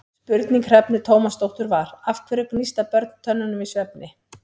Spurning Hrefnu Tómasdóttur var: Af hverju gnísta börn tönnunum í svefni?